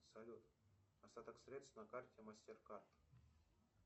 салют остаток средств на карте мастеркард